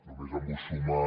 només em vull sumar